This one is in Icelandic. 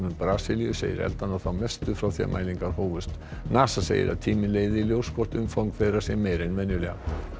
Brasilíu segir eldana þá mestu frá því mælingar hófust NASA segir að tíminn leiði í ljós hvort umfang þeirra sé meira en vanalega